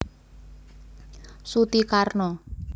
Suti Karno